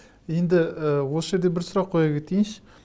енді і осы жерде бір сұрақ қоя кетейінші